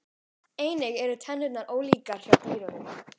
Einnig eru tennurnar ólíkar hjá dýrunum.